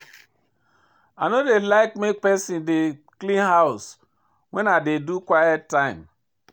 I no dey like make pesin dey clean house wen I dey do quiet time.